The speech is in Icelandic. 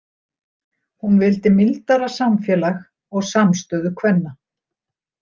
Hún vildi mildara samfélag og samstöðu kvenna.